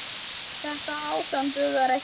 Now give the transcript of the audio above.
Þetta ástand dugar ekki lengur.